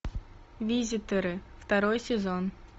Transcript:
визитеры второй сезон